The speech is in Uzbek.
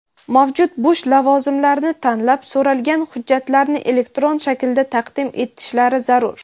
mavjud bo‘sh lavozimlarni tanlab so‘ralgan hujjatlarni elektron shaklda taqdim etishlari zarur.